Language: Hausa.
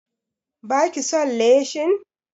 Ba ki son leshin?